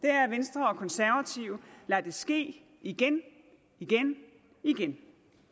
er at venstre og konservative lader det ske igen og igen